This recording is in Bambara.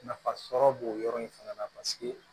Nafa sɔrɔ bo yɔrɔ in fɛnɛ na paseke